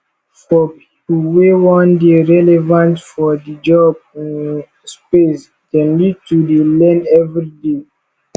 for pipo wey won de relevant for di job um space dem need to de learn everyday